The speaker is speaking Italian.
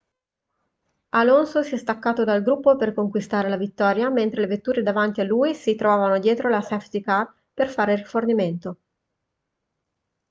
alonso si è staccato dal gruppo per conquistare la vittoria mentre le vetture davanti a lui si trovavano dietro la safety car per fare rifornimento